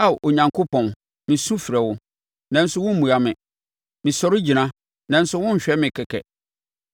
“Ao Onyankopɔn, mesu mefrɛ wo, nanso wommua me. Mesɔre gyina, nanso wohwɛ me kɛkɛ.